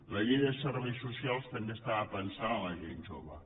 la llei de serveis socials també estava pensada per a la gent jove